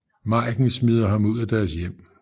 Maiken smider ham ud af deres hjem